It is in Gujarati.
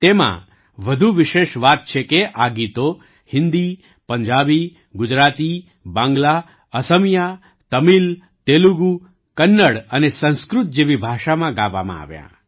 તેમાં વધુ વિશેષ વાત છે કે આ ગીતો હિન્દી પંજાબી ગુજરાતી બાંગ્લા અસમિયા તમિલ તેલુગુ કન્નડ અને સંસ્કૃત જેવી ભાષામાં ગાવામાં આવ્યાં